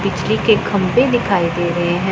बिजली के खम्भे दिखाई दे रहे हैं।